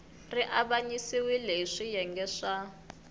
ri avanyisiwile hi swiyenge swa